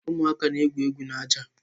Ụmụaka na egwu egwu n'ájá.